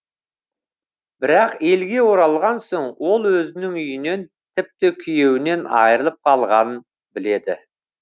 бірақ елге оралған соң ол өзінің үйінен тіпті күйеуінен айырылып қалғанын біледі